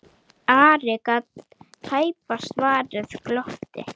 Ari gat tæpast varist glotti.